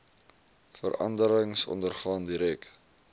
veranderings ondergaan direk